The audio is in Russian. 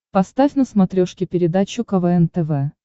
поставь на смотрешке передачу квн тв